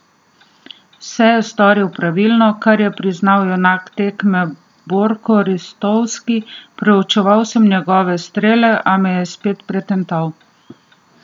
Vse je storil pravilno, kar je priznal junak tekme Borko Ristovski: "Preučeval sem njegove strele, a me je spet pretental.